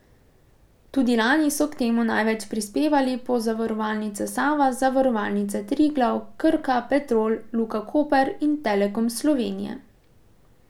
Tudi lani so k temu največ prispevali Pozavarovalnica Sava, Zavarovalnica Triglav, Krka, Petrol, Luka Koper in Telekom Slovenije.